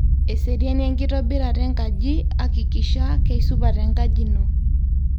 eseriani enkitobirata enkaji akikisha keisupat enkaji ino